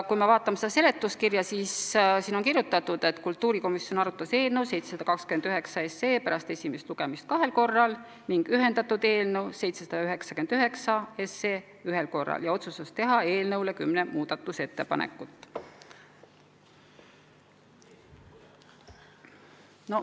Kui me vaatame seda seletuskirja, siis näeme, et siin on kirjutatud: kultuurikomisjon arutas eelnõu 729 pärast esimest lugemist kahel korral ning ühendatud eelnõu 799 ühel korral ja otsustas teha eelnõu kohta kümme muudatusettepanekut.